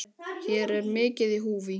Hér er mikið í húfi.